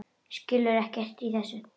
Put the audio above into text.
Skilur ekkert í þessu.